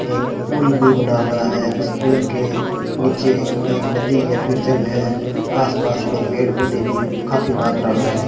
एक फूल भी बना हुआ है इस पुल के नीचे एक नदी या फिर जल है आस पास में पेड़ पौधे भी काफी मात्रा में है।